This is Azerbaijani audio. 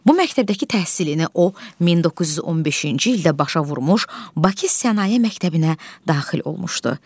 Bu məktəbdəki təhsilini o 1915-ci ildə başa vurmuş, Bakı Sənaye Məktəbinə daxil olmuşdu.